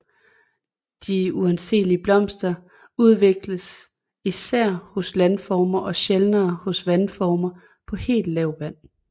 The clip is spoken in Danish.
De uanseelige blomster udvikles især hos landformer og sjældnere hos vandformer på helt lavt vand